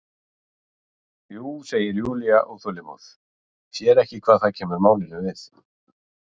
Jú, segir Júlía óþolinmóð, sér ekki hvað það kemur málinu við.